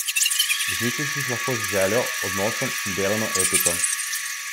Izničiš jih lahko z željo, odnosom in delovno etiko.